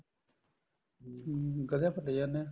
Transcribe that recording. ਹਮ ਹਮ ਗਧਿਆਂ ਪਰ ਲੈ ਜਾਂਦੇ ਆ